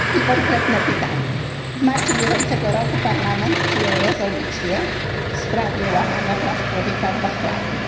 Konkretne pytania w marcu bieżącego roku Parlament przyjął rezolucję w sprawie łamania praw człowieka w Bahrajnie.